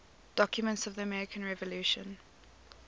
documents of the american revolution